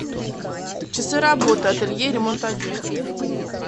часы работы ателье ремонта одежды